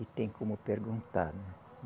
e tem como perguntar, né.